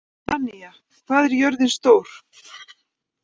Danía, hvað er jörðin stór?